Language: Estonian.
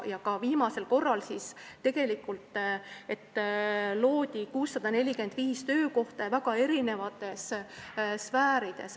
Viimasel korral loodi 645 töökohta ja väga erinevates sfäärides.